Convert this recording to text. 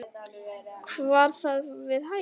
Var það við hæfi?